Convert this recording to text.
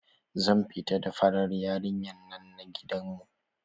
Zan fita da farar yarinyan nan na gidan mu.